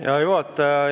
Hea juhataja!